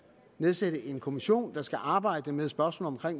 nedsættes en kommission der skal arbejde med spørgsmålet